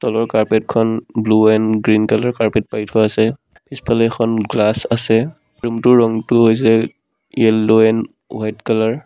তলৰ কাৰ্পেট খন blue and green colour carpet পাৰি থোৱা আছে পিছফালে এখন গ্লাচ আছে ৰুম টোৰ ৰংটো হৈছে য়েল্লো এণ্ড হোৱাইট কালাৰ ।